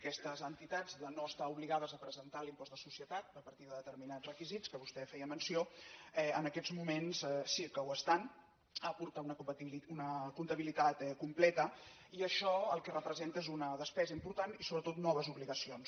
aquestes entitats de no estar obligades a presentar l’impost de societat a partir de determinats requisits dels quals vostè feia menció en aquests moments sí que ho estan a portar una comptabilitat completa i això el que representa és una despesa important i sobretot noves obligacions